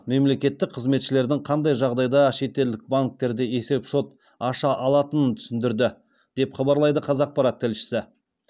мемлекеттік қызметшілердің қандай жағдайда шетелдік банктерде есепшот аша алатынын түсіндірді деп хабарлайды қазақпарат тілшісі